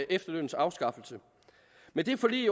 efterlønnens afskaffelse men det forlig